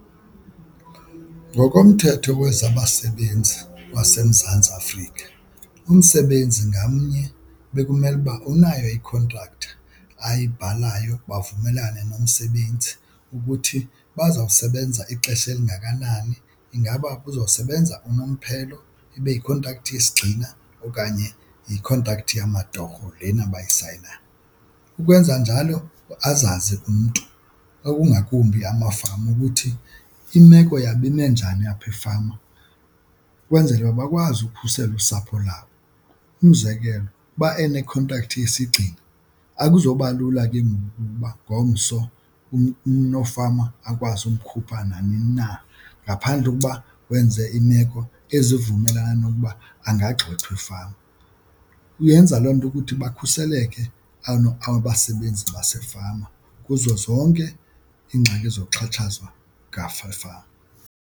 Ngokomthetho wezabasebenzi baseMzantsi Afrika, umsebenzi ngamnye bekumele uba unayo ikhontrakthi ayibhalayo bavumelane nomsebenzi ukuthi bazawusebenza ixesha elingakanani. Ingaba uzosebenza unomphelo ibe yikhontrakthi yesigxina okanye yikhontrakthi yamatorho lena bayisayinayo? Ukwenza njalo azazi umntu okungakumbi amafama ukuthi imeko yabo ime njani yapha efama ukwenzela uba bakwazi ukhusela usapho lwabo. Umzekelo uba enekhontrakthi yesigxina akuzoba lula ke ngoku ukuba ngomso unofama akwazi umkhupha nanini na ngaphandle kokuba wenze imeko ezivumelana nokuba angagxothwa efama. Uyenza loo nto ukuthi bakhuseleke abasebenzi basefama kuzo zonke iingxaki zokuxhatshazwa efama.